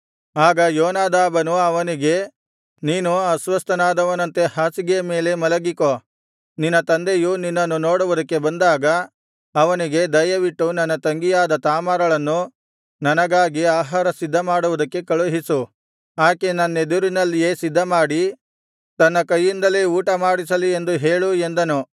ಆಗ ಯೋನಾದಾಬನು ಅವನಿಗೆ ನೀನು ಅಸ್ವಸ್ಥನಾದವನಂತೆ ಹಾಸಿಗೆಯ ಮೇಲೆ ಮಲಗಿಕೋ ನಿನ್ನ ತಂದೆಯು ನಿನ್ನನ್ನು ನೋಡುವುದಕ್ಕೆ ಬಂದಾಗ ಅವನಿಗೆ ದಯವಿಟ್ಟು ನನ್ನ ತಂಗಿಯಾದ ತಾಮಾರಳನ್ನು ನನಗಾಗಿ ಆಹಾರ ಸಿದ್ಧಮಾಡುವುದಕ್ಕೆ ಕಳುಹಿಸು ಆಕೆ ನನ್ನೆದುರಿನಲ್ಲಿಯೆ ಸಿದ್ಧಮಾಡಿ ತನ್ನ ಕೈಯಿಂದಲೇ ಊಟಮಾಡಿಸಲಿ ಎಂದು ಹೇಳು ಎಂದನು